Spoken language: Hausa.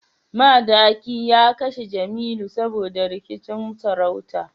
Madaki ya kashe Jemilu saboda rikicin sarauta